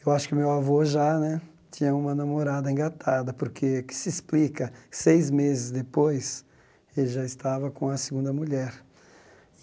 Eu acho que meu avô já né tinha uma namorada engatada, porque, o que se explica, seis meses depois, ele já estava com a segunda mulher.